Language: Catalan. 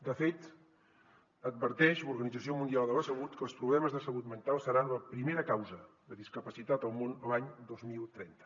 de fet adverteix l’organització mundial de la salut que els problemes de salut mental seran la primera causa de discapacitat al món l’any dos mil trenta